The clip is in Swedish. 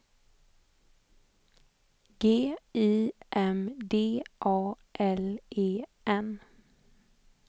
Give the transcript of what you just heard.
G I M D A L E N